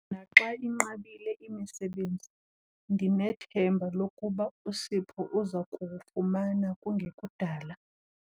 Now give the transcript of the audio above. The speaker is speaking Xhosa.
Naxa inqabile imisebenzi ndinethemba lokuba uSipho uza kuwufumana kungekudala.